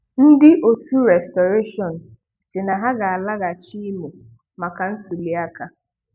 Ndị 'Òtù Restoration' si na ha ga alaghachị Imo maka ntụlịaka